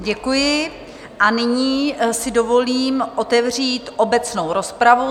Děkuji a nyní si dovolím otevřít obecnou rozpravu.